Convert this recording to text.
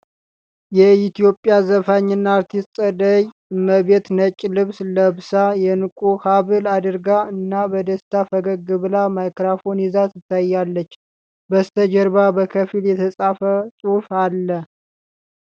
የኢትዮጵያ ዘፋኝ እና አርቲስት ፀደይ እመቤት ነጭ ልብስ ለብሳ፣ የዕንቁ ሐብል አድርጋ እና በደስታ ፈገግ ብላ ማይክሮፎን ይዛ ትታያለች። በስተጀርባ በከፊል የተጻፈ ጽሑፍ አለ።